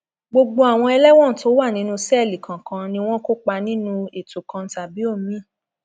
gbogbo àwọn ẹlẹwọn tó wà nínú sẹẹlì kọọkan ni wọn kópa nínú ètò kan tàbí omiín